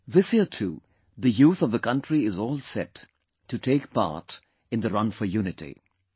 This year too, the youth of the country is all set, to take part in the 'Run for Unity'